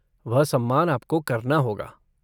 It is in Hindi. वह सम्मान आपको करना होगा।